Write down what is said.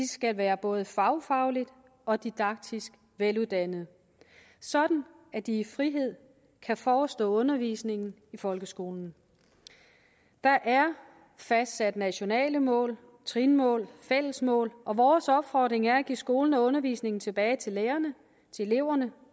skal være både fagfagligt og didaktisk veluddannede sådan at de i frihed kan forestå undervisningen i folkeskolen der er fastsat nationale mål trinmål fælles mål og vores opfordring er at give skolen og undervisningen tilbage til lærerne eleverne